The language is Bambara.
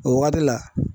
O waati la